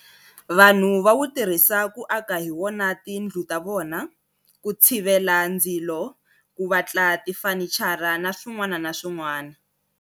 Vanhu va wu tirhisa ku aka hi wona tindlu ta vona, ku tshivela ndzilo, ku vatla tifanichara na swin'wana na swin'wana.